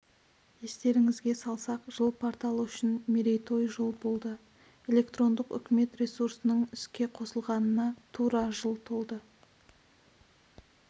естеріңізге салсақ жыл порталы үшін мерейтой жыл болды электрондық үкімет ресурсының іске қосылғанына тура жыл толды